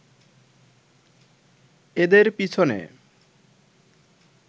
এদের পিছনে